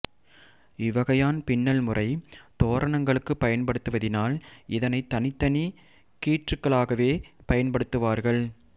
இவ்வகையான் பின்னல் முறை தோரணங்களுக்குப் பயன்படுவதினால் இதனைத் தனித்தனி கீற்றுகளாகவே பயன்படுத்துவார்கள்